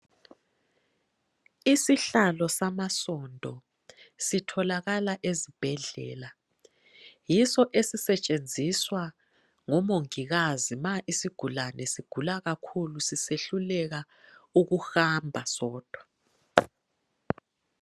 Isihlalo samasondo sitholakala ezibhedlela yiso esisetshenziswa ngomongikazi ma isigulani sigula kakhulu sisehluleka ukuhamba sodwa.